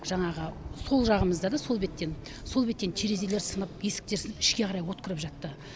жаңағы сол жағымызда да сол беттен сол беттен терезелер сынып есіктер сынып ішке қарай от кіріп жатты